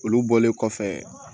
Olu bɔlen kɔfɛ